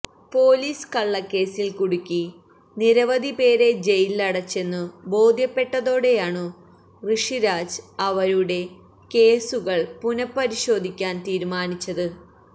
police കള്ളക്കേസിൽ കുടുക്കി നിരവധിപേരെ ജയിലിലടച്ചെന്നു ബോധ്യപ്പെട്ടതോടെയാണു ഋഷിരാജ് അവരുടെ കേസുകൾ പുനഃപരിശോധിക്കാൻ തീരുമാനിച്ചത്